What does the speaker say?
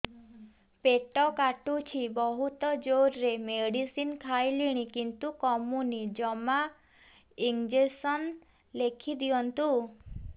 ପେଟ କାଟୁଛି ବହୁତ ଜୋରରେ ମେଡିସିନ ଖାଇଲିଣି କିନ୍ତୁ କମୁନି ଜମା ଇଂଜେକସନ ଲେଖିଦିଅନ୍ତୁ